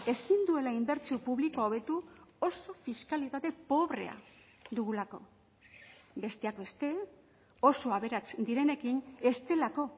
ezin duela inbertsio publikoa hobetu oso fiskalitate pobrea dugulako besteak beste oso aberats direnekin ez delako